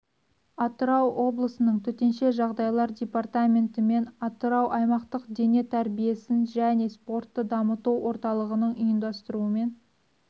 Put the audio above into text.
атырау облысының төтенше жағдайлар департаменті мен атырау аймақтық дене тәрбиесін және спортты дамыту орталығының ұйымдастыруымен